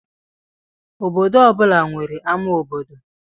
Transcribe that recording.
Obodo ọ bụla nwere ama obodo.